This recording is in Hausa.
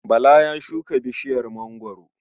Bala ya shuka bishiyar mangwaro.